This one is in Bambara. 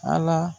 Ala